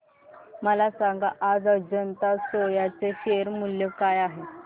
मला सांगा आज अजंता सोया चे शेअर मूल्य काय आहे